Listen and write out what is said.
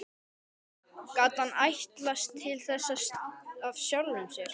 Gat hann ætlast til þess af sjálfum sér?